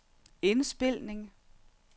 indspilning